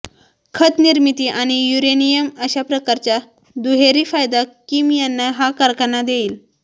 खत निर्मिती आणि युरेनियम अशा प्रकारचा दुहेरी फायदा किम यांना हा कारखाना देईल